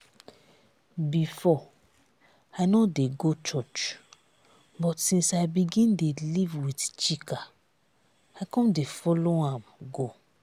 before i no dey go church but since i begin dey live with chika i come dey follow am go